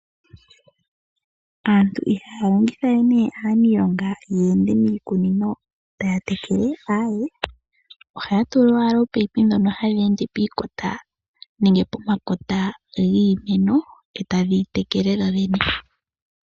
Aantu ihaya longitha we nee aaniilonga ye ende miikunino taa tekele, aae ohaya tula owala oopaipi ndhono hadhi ende pekota nenge pomakota giimeno etadhi itekele dho dhene.